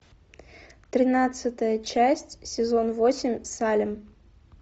тринадцатая часть сезон восемь салем